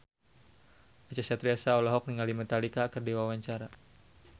Acha Septriasa olohok ningali Metallica keur diwawancara